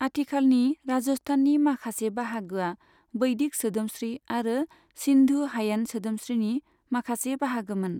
आथिखालानि राजस्थाननि माखासे बाहागोया बैदिक सोदोमस्रि आरो सिन्धु हायेन सोदोमस्रिनि माखासे बाहागोमोन।